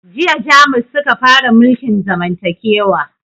Jiya jamus suka fara mulkin zamantakewa